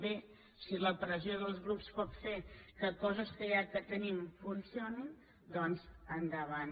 bé si la pressió dels grups pot fer que coses que ja tenim funcionin doncs endavant